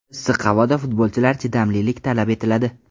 Issiq havoda futbolchilar chidamlilik talab etiladi.